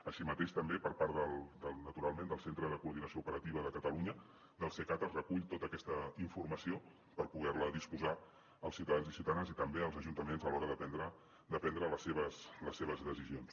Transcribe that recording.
així mateix també per part naturalment del centre de coordinació operativa de catalunya del cecat es recull tota aquesta informació per poder ne disposar els ciutadans i ciutadanes i també els ajuntaments a l’hora de prendre les seves decisions